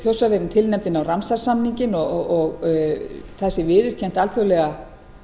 þjórsárverin tilnefnd inn á ramsarsamninginn og það sé viðurkennt alþjóðlega